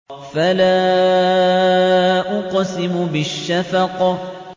فَلَا أُقْسِمُ بِالشَّفَقِ